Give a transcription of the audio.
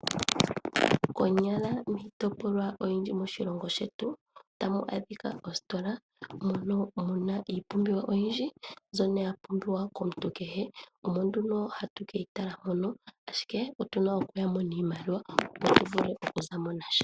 Konyala miitopolwa oyindji moshilongo shetu otamu adhika oositola mono mu na iipumbiwa oyindji mbyono ya pumbiwa komuntu kehe. Omo nduno hatu ke yi tala mono, ashike otu na okuya mo niimaliwa, opo tu vule okuza mo nasha.